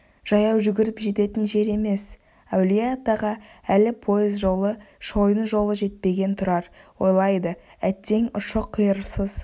жаяу жүгіріп жететін жер емес әулие-атаға әлі пойыз жолы шойын жолы жетпеген тұрар ойлайды әттең ұшы-қиырсыз